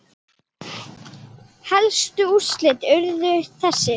Helstu úrslit urðu þessi